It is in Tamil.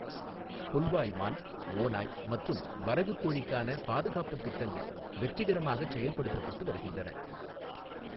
புல்வாய் மான், ஓநாய் மற்றும் வரகுக் கோழிக்கான பாதுகாப்புத் திட்டங்கள் வெற்றிகரமாகச் செயல்படுத்தப்பட்டு வருகின்றன.